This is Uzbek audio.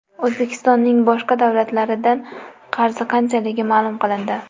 O‘zbekistonning boshqa davlatlardan qarzi qanchaligi ma’lum qilindi.